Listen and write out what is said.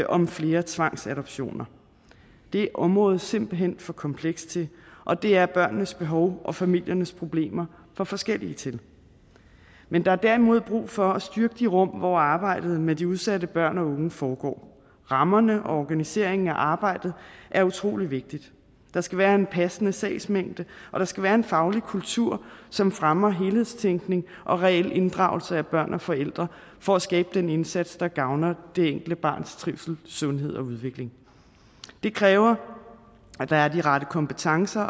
om flere tvangsadoptioner det er området simpelt hen for komplekst til og det er børnenes behov og familiernes problemer for forskellige til men der er derimod brug for at styrke de rum hvor arbejdet med de udsatte børn og unge foregår rammerne for og organiseringen af arbejdet er utrolig vigtigt der skal være en passende sagsmængde og der skal være en faglig kultur som fremmer helhedstænkning og reel inddragelse af børn og forældre for at skabe den indsats der gavner det enkelte barns sundhed trivsel og udvikling det kræver at der er de rette kompetencer